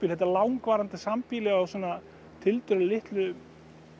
þetta langvarandi sambýli á tiltölulega litlum